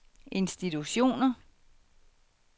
institutioner